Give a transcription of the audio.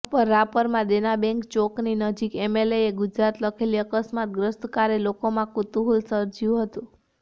રાપરઃ રાપરમાં દેના બેંક ચોકની નજીક એમએલએ ગુજરાત લખેલી અકસ્માતગ્રસ્ત કારે લોકોમાં કૂતૂહલ સર્જ્યું હતું